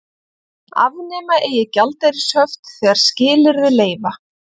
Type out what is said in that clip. Afnema eigi gjaldeyrishöft þegar skilyrði leyfa